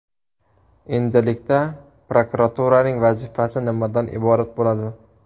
Endilikda prokuraturaning vazifasi nimadan iborat bo‘ladi?